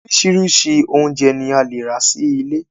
Orísirísi oúnjẹ ni a le rà sí ilé